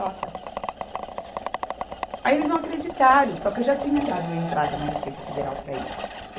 Aí eles não acreditaram, só que eu já tinha dado entrada na Receita Federal para isso.